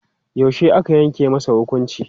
Yaushe aka yanke masa hukunci?